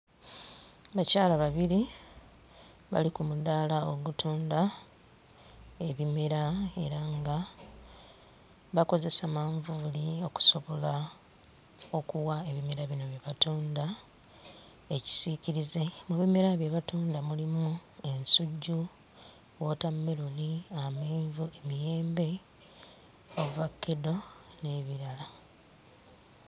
Bakyala babiri bali ku mudaala ogutunda ebimera era nga bakozesa manvuuli okusobola okuwa ebimera bino bye batunda ekisiikirize mu bimera bye batunda mulimu ensujju, wootammeroni, amenvu, emiyembe, ovakkedo n'ebirala.